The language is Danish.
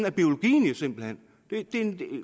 er biologien simpelt hen det er